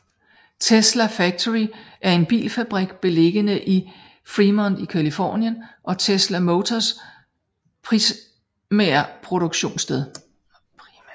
Tesla Factory er en bilfabrik beliggende i Fremont i Californien og Tesla Motors primære produktionssted